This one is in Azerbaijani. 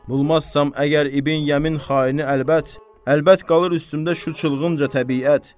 Bulmazsam əgər İbn Yəmin xaini əlbət, əlbət qalır üstümdə şu çılgınca təbiyyət.